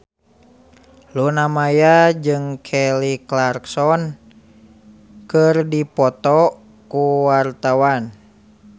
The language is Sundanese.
Luna Maya jeung Kelly Clarkson keur dipoto ku wartawan